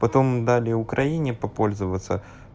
потом дали украине попользоваться